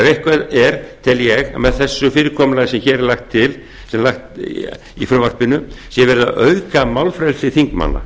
eitthvað er tel ég að með þessu fyrirkomulagi sem lagt er til í frumvarpinu sé verið að auka málfrelsi þingmanna